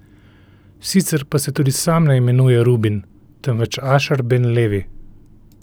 Sicer pa se tudi sam ne imenuje Rubin, temveč Ašer ben Levi.